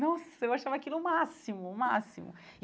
Nossa, eu achava aquilo o máximo, o máximo e.